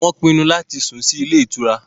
Wọn pinnu láti sùn sì ilé ìtura